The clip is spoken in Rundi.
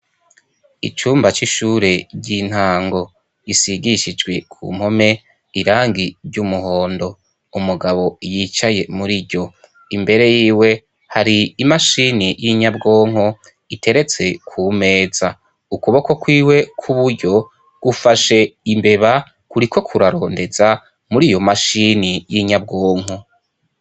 Icumba c'ishure ry'intango isigishijwe ku mpome irangi ry'umuhondo umugabo yicaye muri ryo imbere yiwe hari imashini y'inyabwonko iteretse ku meza ukuboko kwiwe kw'uburyo gufashe imbeba kuri kok rarondeza muri iyo mashini y'inyabwonko.